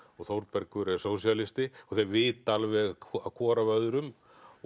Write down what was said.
Þórbergur er sósíalisti og þeir vita alveg hvor af öðrum